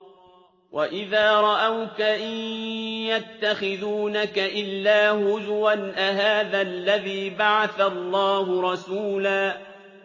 وَإِذَا رَأَوْكَ إِن يَتَّخِذُونَكَ إِلَّا هُزُوًا أَهَٰذَا الَّذِي بَعَثَ اللَّهُ رَسُولًا